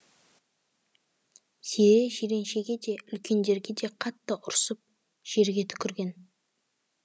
зере жиреншеге де үлкендерге де қатты ұрсып жерге түкірген